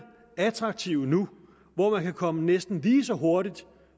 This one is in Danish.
attraktive nu hvor man kan komme næsten lige så hurtigt